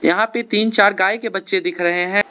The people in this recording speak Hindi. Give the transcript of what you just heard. यहां पे तीन चार गाय के बच्चे दिख रहे हैं।